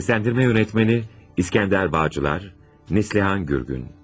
Seslendirme Yönetmeni, İskender Bağcılar, Neslihan Gürgün.